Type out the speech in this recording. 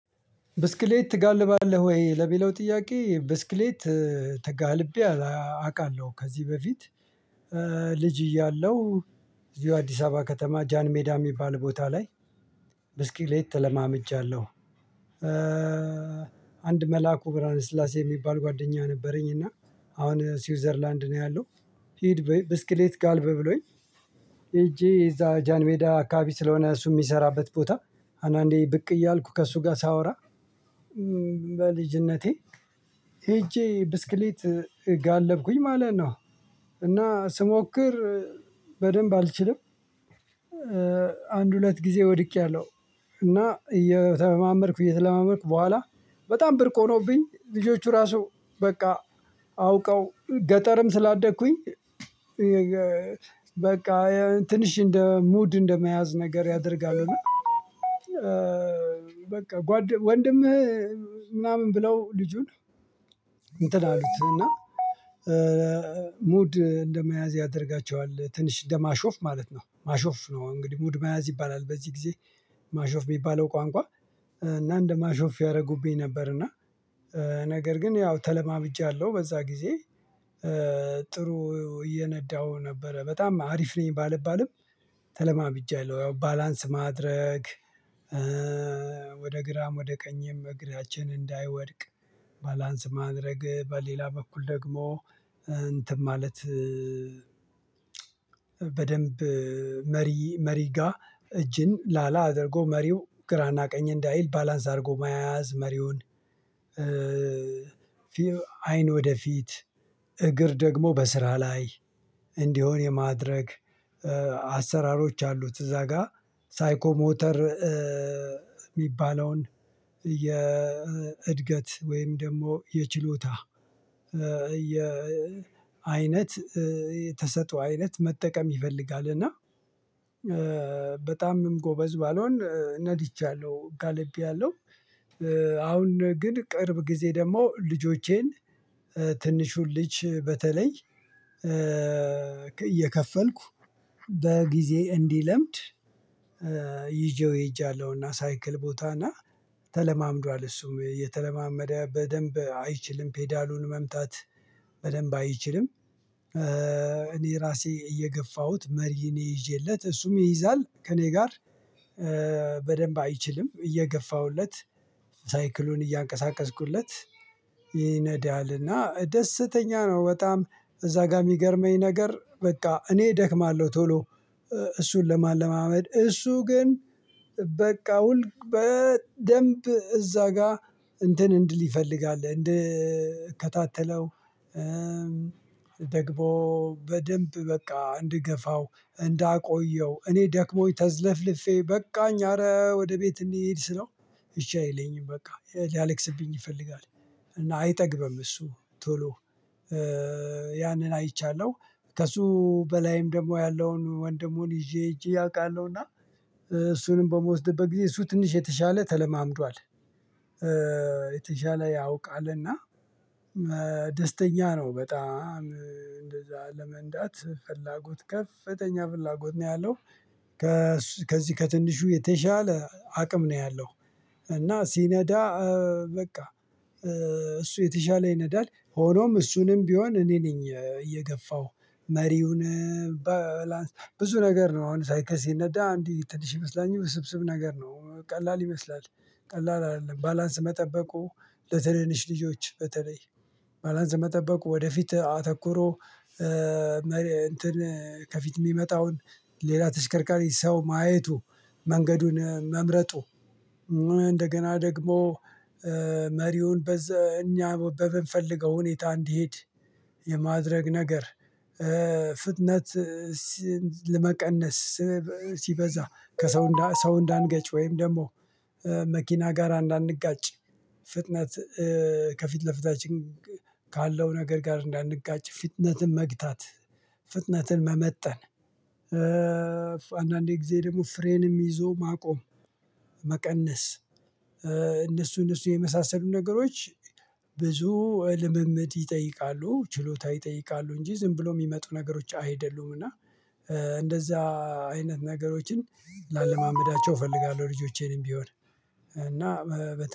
ብስክሌት ትጋልባለህ ወይ? ለቢለው ጥያቄ ብስክሌት ትጋልቤ አውቃለው ከዚህ በፊት። ልጅ እያለሁ እዚሁ አዲስ አበባ ከተማ ጃን ሜዳ የሚባል ቦታ ላይ ብስክሌት ተለማምጃለሁ። አንድ መልአኩ ብርሃነስላሴ የሚባል ጓደኛ ነበረኝ እና አሁን ስዊዘርላንድ ነው ያለው። ሂድ በይ ብስክሌት ጋልብ ብሎኝ እጄ እዛ ጃንሜዳ አካባቢ ስለሆነ እሱ የሚሰራበት ቦታ አንድአንዴ ብቅ እያልኩ ከእሱ ጋር ሳወራ በልጅነቴ ሄጄ ብስክሌት ጋለብኩኝ ማለት ነው። እና ስሞክር በደንብ አልችልም። አንድ ሁለት ጊዜ ወድቄያለሁ እና እየተለማመድኩ እየተለማመድኩ በኋላ በጣም ብርቅ ሆኖብኝ ልጆቹ ራሱ በቃ አውቀው ገጠርም ስላደግኩኝ። በቃ ትንሽ እንደ ሙድ እንደመያዝ ነገር ያደርጋሉ እና። በቃ ወንድምህ ምናምን ብለው ልጁን እንትን አሉት እና። ሙድ እንደመያዝ ያደርጋቸዋል ትንሽ እንደ ማሾፍ ማለት ነው ማሾፍ ነው። እንግዲህ ሙድ መያዝ ይባላል። በዚህ ጊዜ ማሾፍ ቢባለው ቋንቋ እና እንደ ማሾፍ ያደርጉብኝ ነበር። እና ነገር ግን ያው ተለማምጃለሁ በዛ ጊዜ። ጥሩ እየነዳሁ ነበረ በጣም አሪፍ ነኝ ባልባልም። ተለማምጃለሁ ያው ባላንስ ማድረግ። ወደ ግራም ወደ ቀኝም እግራችን እንዳይወድቅ ባላንስ ማድረግ በሌላ በኩል ደግሞ። እንትን ማለት በደንብ መሪ መሪ ጋር እጅን ላላ አድርጎ መሪ ግራና ቀኝ እንዳይል ባላንስ አድርጎ መያዝ መሪውን። ፊር አይን ወደፊት እግር ደግሞ በስራ ላይ እንዲሆን የማድረግ አሰራሮች አሉት። እዛ ጋር ሳይኮሞተር የሚባለውን የእድገት ወይም ደግሞ የችሎታ የአይነት የተሰጠው አይነት መጠቀም ይፈልጋል። እና በጣምም ጎበዝ ባልሆን ነድቻለሁ ጋልቤያለሁ። አሁን ግን ቅርብ ጊዜ ደግሞ ልጆቼን ትንሹን ልጅ በተለይ እየከፈልኩ በጊዜ እንዲለምድ ይዤው ሄጃለሁ እና ሳይክል ቦታ እና ተለማምዷል እሱም የተለማመደ በደንብ አይችልም ፔዳሉን መምታት በደንብ አይችልም። ራሴ እየገፋሁት መሪ እኔ ይዤለት እሱም ይይዛል ከእኔ ጋር በደንብ አይችልም እየገፋሁለት ሳይክሉን እያንቀሳቀስኩለት ይነዳልና ደስተኛ ነው። በጣም እዛ ጋር የሚገርመኝ ነገር በቃ እኔ እደክማለሁ ቶሎ እሱን ለማለማመድ እሱ ግን በቃ ውል በደንብ እዛ ጋር እንትን እንድል ይፈልጋል እንድከታተለው። ደግሞ በደንብ በቃ እንድገፋው እንዳቆየው እኔ ደክሞኝ ተዝለፍልፌ በቃኝ አረ ወደ ቤት እንሂድ ስለው እሺ አይለኝም በቃ ሊያለቅስብኝ ይፈልጋል። እና አይጠግብም እሱ ቶሎ ያንን አይቻለሁ። ከእሱ በላይም ደግሞ ያለውን ወንድሙን ይዤ እጄ አውቃለሁና እሱንም በመወስደበት ጊዜ እሱ ትንሽ የተሻለ ተለማምዷል። የተሻለ ያውቃልና ደስተኛ ነው በጣም እንደዛ ለመንዳት ፍላጎት ከፍተኛ ፍላጎት ነው ያለው። ከዚህ ከትንሹ የተሻለ አቅም ነው ያለው። እና ሲነዳ በቃ እሱ የተሻለ ይነዳል ሆኖም እሱንም ቢሆን እኔ ነኝ እየገፋሁ መሪውን በባላንስ ብዙ ነገር ነው አሁን ሳይክል ሲነዳ እንዲህ ትንሽ ይመስላል እንጂ ውስብስብ ነገር ነው ቀላል ይመስላል። ቀላል አይደለም። ባላንስ መጠበቁ ለትንንሽ ልጆች በተለይ ባላንስ መጠበቁ ወደፊት አተኩሮ እንትን ከፊት የሚመጣውን ሌላ ተሽከርካሪ ሰው ማየቱ መንገዱን መምረጡ። እንደገና ደግሞ መሪውን በዘ እኛ በምንፈልገው ሁኔታ እንዲሄድ የማድረግ ነገር። ፍጥነት ለመቀነስ ሲበዛ ከሰው ሰው እንዳንገጭ ወይም ደግሞ መኪና ጋር እንዳንጋጭ። ፍጥነት ከፊት ለፊታችን ካለው ነገር ጋር እንዳንጋጭ ፊጥነትን መግታት ፍጥነትን መመጠን። አንዳንዴ ጊዜ ደግሞ ፍሬንም ይዞ ማቆም መቀነስ። እነሱ እነሱ የመሳሰሉ ነገሮች ብዙ ልምምድ ይጠይቃሉ ችሎታ ይጠይቃሉ እንጂ ዝም ብሎ የሚመጡ ነገሮች አይደሉምና። እንደዛ አይነት ነገሮችን ላለማምዳቸው እፈልጋለሁ ልጆቼንም ቢሆን እና